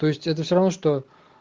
то есть это все равно что